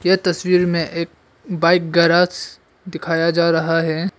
तस्वीर में एक बाइक गेराज दिखाया जा रहा है।